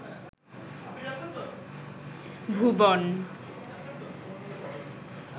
ভুবন